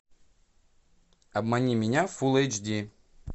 обмани меня фулл эйч ди